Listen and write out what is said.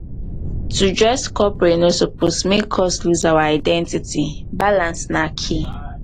to dress corporate no suppose make us lose our identity; balance na key.